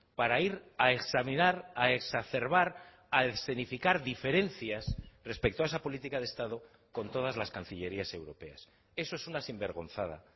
para ir a examinar a exacerbar a escenificar diferencias respecto a esa política de estado con todas las cancillerías europeas eso es una sinvergonzada